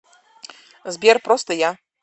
сбер просто я